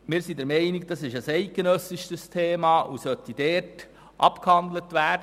Wir sind der Meinung, das sei ein eidgenössisches Thema, und es solle auf dieser Ebene abgehandelt werden.